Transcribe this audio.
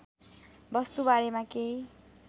वस्तु बारेमा केही